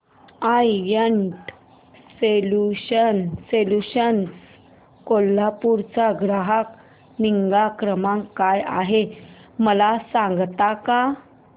I net solutions Kolhapur चा ग्राहक निगा क्रमांक काय आहे मला सांगता का